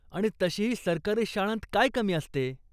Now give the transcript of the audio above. आणि तशीही सरकारी शाळांत काय कमी असते ?